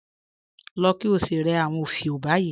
Lọ̀ kí ó sí rẹ̀ awọn ofíò báyì